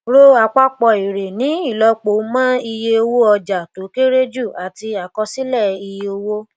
ro àpapọ èrè ní ìlọpo mọ iye owó ọjà tó kéré jù àti àkọsílẹ iye owó